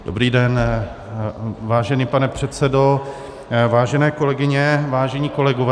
Dobrý den, vážený pane předsedo, vážené kolegyně, vážení kolegové.